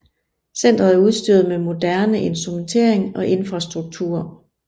Centret er udstyret med moderne instrumentering og infrastruktur